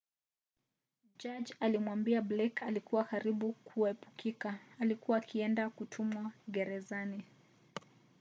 jaji alimwambia blake ilikuwa karibu kuepukika alikuwa akienda kutumwa gerezan